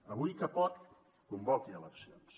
avui que pot convoqui eleccions